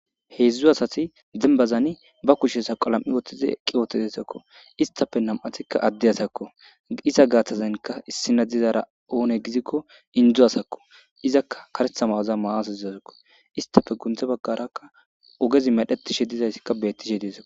heedzdzu asati dembazani ba kushe saqa lam7i woththizi eqqi wotedesakko istafe nam7atikka adde asakko isa gaathtazenka issina dizara oone gizikko indzu asakko izakka karethama waza maaas izasakko istafe gunthe baggarakka ogezi medhetishe dizayssikka bettishe dieza